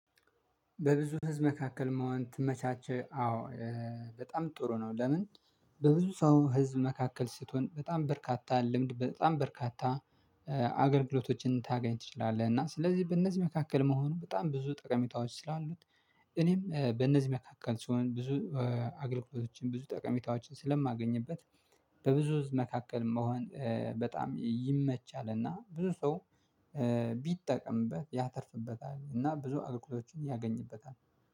በብዙ ህዝብ መካከል መሆን ከተመቻቸ አዎ በጣም ጥሩ ነው። ለምን? በብዙ ሰው ህዝብ መካከል ስትሆን በጣም በርካታ ልምድ በጣም በርካታ አገልግሎቶችን ልታገኝ ትችላለህ። እና ስለዚህ በእነዚህ መካከል መሆኑን በጣም ብዙ ጠቀሜታዎች ስላሉት። እኔም በእነዚህ መካከል ስሆን ብዙ አገልግሎቶችን ብዙ ጠቀሜታዎችን ስለማገኝበት። በብዙ ህዝብ መካከል መሆን በጣም ይመቻልና ብዙ ሰው። ቢጠቀምበት ያተርፍበታል እና ብዙ አገልግሎቶችን ያገኝበታል።